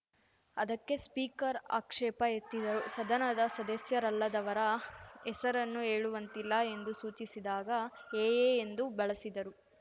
ಅದಕ್ಕೆ ಸ್ಪೀಕರ್‌ ಆಕ್ಷೇಪ ಎತ್ತಿದರು ಸದನದ ಸದಸ್ಯರಲ್ಲದವರ ಹೆಸರನ್ನು ಹೇಳುವಂತಿಲ್ಲ ಎಂದು ಸೂಚಿಸಿದಾಗ ಎಎ ಎಂದು ಬಳಸಿದರು